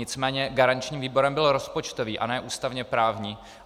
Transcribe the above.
Nicméně garančním výborem byl rozpočtový, a ne ústavně-právní.